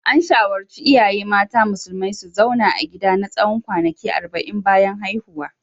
An shawarci iyaye mata musulmai su zauna a gida na tsawon kwanaki arba'in bayan haihuwa.